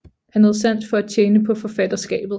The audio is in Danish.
Han havde sans for at tjene på forfatterskabet